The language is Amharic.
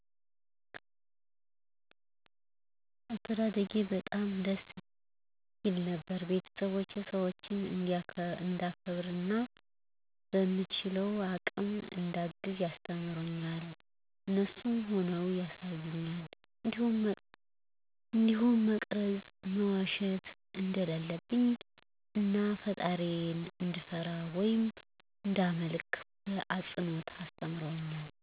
አስተዳደጌ በጣም ደስ ይል ነበር ቤተስቦቸ ሰዎችን እዳከብር እና በምችለው አቅም እዳግዝ ያስተምሩኛል እነሱም ሁነው ያሳዩኛል እንዲሁም መስረቅ፣ መዋሸት እደለለብኝ እናፈጣሪየን እድፈራ ወይም እዳመልክ በአፅኖት አስተምረውኛል።